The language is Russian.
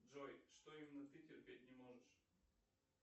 джой что именно ты терпеть не можешь